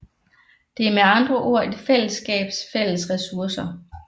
Det er med andre ord et fællesskabs fælles ressourcer